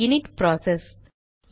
இது init process